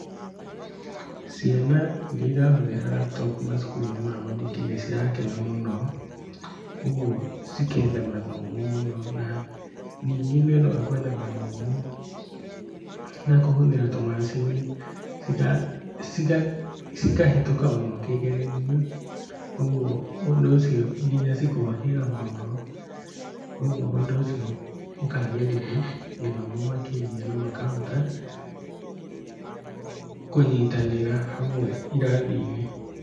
Ciana iria irahũthĩra laptop macukuru-inĩ ma muthingi nĩ cirakena mũno ũguo cikenda mathomo mũno na ningĩ nĩ ũndũ wa kwenda mathomo na kũhũthĩra tũmacini cikahĩtũka mũno kĩgeranio ũguo ũndũ ũcio nginya cikohĩga mũno ũguo ũndũ ũcio ũkagirithia gĩthomo makĩria na makahota kũnyitanĩra hamwe iraathinĩ